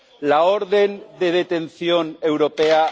La orden de detención europea...